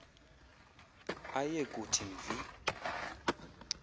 aye kuthi mvi